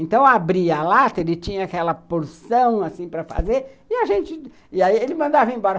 Então, eu abria a lata, ele tinha aquela porção assim para fazer, e aí ele mandava ir embora.